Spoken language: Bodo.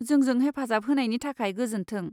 जोंजों हेफाजाब होनायनि थाखाय गोजोन्थों।